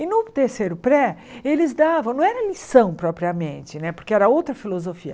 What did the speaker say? E no terceiro pré, eles davam, não era lição propriamente né, porque era outra filosofia.